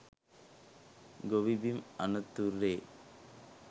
ගොවි බිම් අනතුරේ